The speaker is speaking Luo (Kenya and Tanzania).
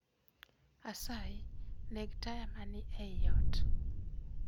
Asayi, neg taya mani e i ot.